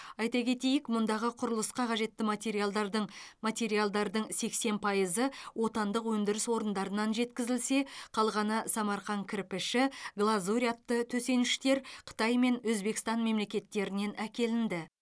айта кетейік мұндағы құрылысқа қажетті материалдардың материалдардың сексен пайызы отандық өндіріс орындарынан жеткізілсе қалғаны самарқан кірпіші глазурь атты төсеніштер қытай мен өзбекстан мемлекеттерінен әкелінді